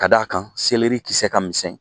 Ka d' a kan kisɛ ka misɛn